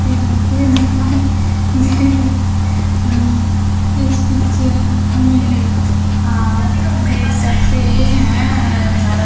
ये जाते इस पिक्चर में आप देख सकते हैं हरा--